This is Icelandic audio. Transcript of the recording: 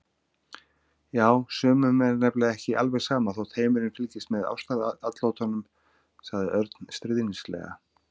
Já, sumum er nefnilega ekki alveg sama þótt heimurinn fylgist með ástaratlotunum sagði Örn stríðnislega.